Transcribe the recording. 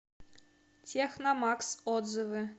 техномакс отзывы